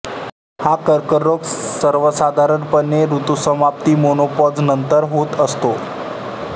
हा कर्करोग सर्वसाधारण पणे ऋतुसमाप्ती मेनोपाॅॅझनंतर होत असतो